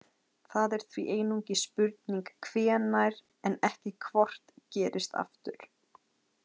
Það er því einungis spurning hvenær en ekki hvort gerist aftur.